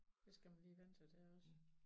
Det skal man lige vænne sig til også